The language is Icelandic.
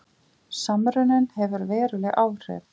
Samruninn hefur veruleg áhrif